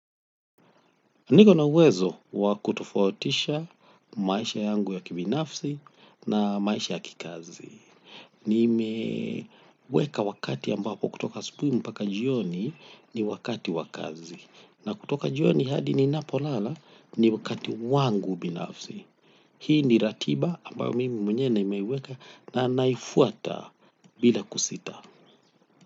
Mimi nina uwezo wa kutoufatisha maisha yangu ya kibinafsi na maisha ya kazi nimeweka wakati ambapo kutoka asubuhi mpaka jioni ni wakati wa kazi. Na kutoka jioni hadi ninapolala ni wakati wangu binafsi. Hii ni ratiba ambayo mimi mwenyewe nimeiweka na naifuata bila kusita.